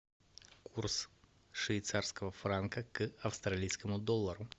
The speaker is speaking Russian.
курс швейцарского франка к австралийскому доллару